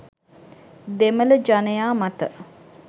දෙමළ ජනයා මත